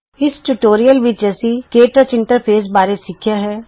ਇਸ ਟਿਯੂਟੋਰੀਅਲ ਵਿੱਚ ਅਸੀਂ ਕੇ ਟੱਚ ਇੰਟਰਫੇਸ ਬਾਰੇ ਸਿੱਖਿਆ ਹੈ